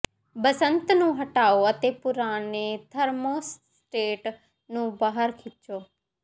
ਬਸੰਤ ਨੂੰ ਹਟਾਓ ਅਤੇ ਪੁਰਾਣੇ ਥਰਮੋਸਟੇਟ ਨੂੰ ਬਾਹਰ ਖਿੱਚੋ